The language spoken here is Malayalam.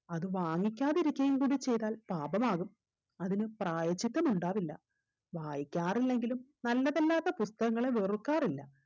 അത് വാങ്ങിക്കാതിരിക്കുകയും കൂടി ചെയ്‌താൽ പാപമാകും അതിന് പ്രായശ്ചിത്തം ഉണ്ടാവില്ല വായിക്കാറില്ലെങ്കിലും നല്ലതല്ലാത്ത പുസ്തകങ്ങളെ വെറുക്കാറില്ല